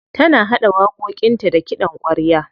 Tana haɗa waƙoƙinta da kiɗan ƙwarya.